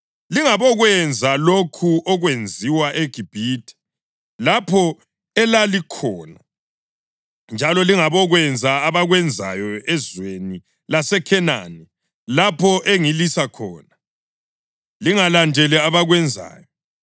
Lingabokwenza lokhu okwenziwa eGibhithe, lapho elalikhona, njalo lingabokwenza abakwenzayo ezweni laseKhenani, lapho engilisa khona. Lingalandeli abakwenzayo.